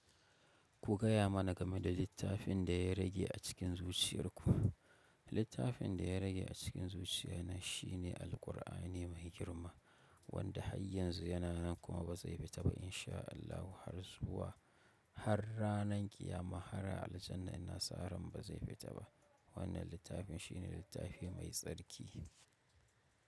Ku gaya mana game da littafin da ya rage a cikin zuciyarku. Littafin da ya rage a cikin zuciya na shine Alqur'ani mai girma, wanda har yanzu yana nan kuma ba zai fita ba in sha Allahu har zuwa har ranan ƙiyama har a Aljannah nasara ba zai fita ba. Wannan littafin shine littafi mai tsarki.